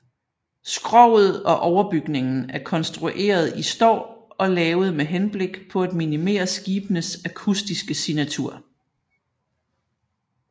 Skroget og overbygningen er konstrueret i står og lavet med henblik på at minimere skibenes akustiske signatur